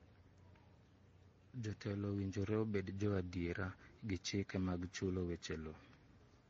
Jotelo owinjore obed jo adiera gi chike mag chulo weche loo.